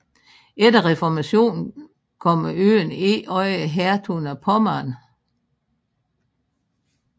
Efter reformationen kom øen ind under hertugen af Pommern